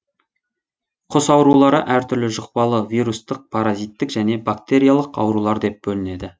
құс аурулары әр түрлі жұқпалы вирустық паразиттік және бактериялық аурулар деп бөлінеді